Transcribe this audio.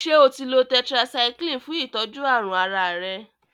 Ṣe otí lọ tetracycline fún itọjú àrùn àrà rẹ.?